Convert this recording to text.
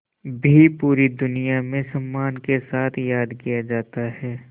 भी पूरी दुनिया में सम्मान के साथ याद किया जाता है